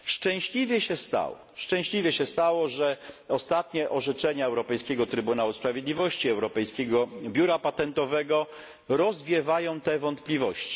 Szczęśliwie się stało, że ostatnie orzeczenia Europejskiego Trybunału Sprawiedliwości, Europejskiego Biura Patentowego rozwiewają te wątpliwości.